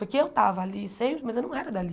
Porque eu estava ali sempre, mas eu não era dali.